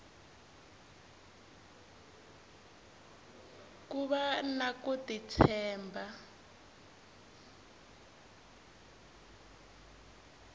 ku vana ku ti tshemba